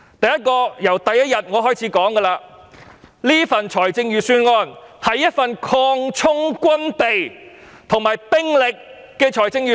第一，我在第一天已經指出，此份預算案是一份擴充軍備及兵力的預算案。